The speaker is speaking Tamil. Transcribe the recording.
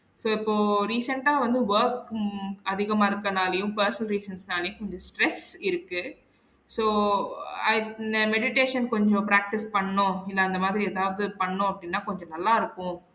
So இப்போ recent ஆ வந்து work ம் அதிகமா இருக்கனாளையும் personal reasons னாளையும் கொஞ்சம் stress இருக்கு so அஹ் meditation கொஞ்சம் practice பண்ணோம் அப்டின்னா அந்த மாதிரி எதாவது பண்ணோம் அப்படினா கொஞ்சம் நல்லா இருக்கும்